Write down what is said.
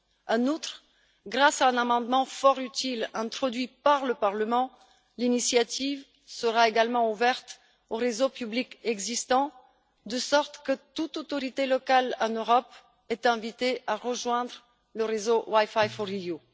En outre, grâce à un amendement fort utile, introduit par le Parlement, l'initiative sera également ouverte aux réseaux publics existants, de sorte que toute autorité locale en Europe soit invitée à rejoindre le réseauWiFi4EU.